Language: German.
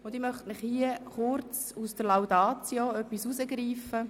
Ich möchte kurz etwas aus der Laudatio herausgreifen.